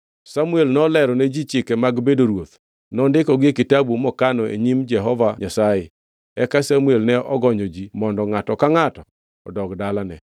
Samuel nolero ne ji chike mag bedo ruoth. Nondikogi e kitabu mokano e nyim Jehova Nyasaye. Eka Samuel ne ogonyo ji mondo ngʼato ka ngʼato odog e dalane.